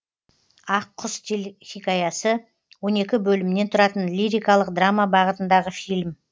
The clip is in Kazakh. ақ құс телехикаясы он екі бөлімнен тұратын лирикалық драма бағытындағы фильм